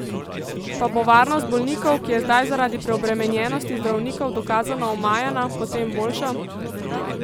Pa bo varnost bolnikov, ki je zdaj zaradi preobremenjenosti zdravnikov dokazano omajana, potem boljša?